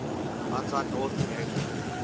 outside north america